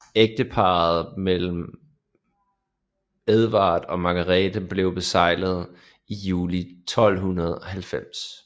Ægtepagten mellem Edvard og Margrete blev beseglet i juli 1290